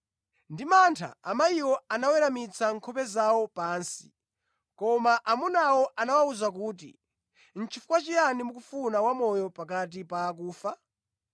Ndi mantha, amayiwo anaweramitsa nkhope zawo pansi, koma amunawo anawawuza kuti, “Nʼchifukwa chiyani mukufuna wamoyo pakati pa akufa?